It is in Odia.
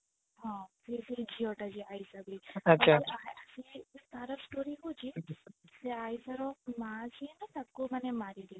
ହଁ ସେ ସେଇ ଝିଅ ତା ଯିଏ ଆଈଶା ହଉଛି ସେ ଆଈଶା ର ମା ଯିଏ ନା ତାକୁ ମାନେ ମାରି ଦେଇଥିଲା